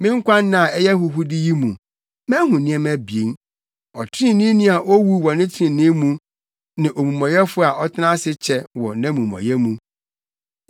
Me nkwanna a ɛyɛ ahuhude yi mu, mahu nneɛma abien: Ɔtreneeni a owu wɔ ne trenee mu, ne omumɔyɛfo a ɔtena ase kyɛ wɔ nʼamumɔyɛ mu.